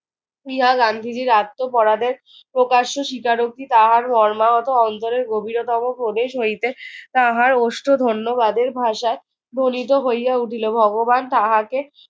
ইহা গান্ধীজির আত্মপরাধের প্রকাশ্য স্বীকারোক্তি। তাহার মর্মাহত অন্তরের গভীরতম প্রদেশ হইতে তাহার ওষ্ঠ ধন্যবাদের ভাষায় ধ্বনিত হইয়া উঠিল। ভগবান তাহাকে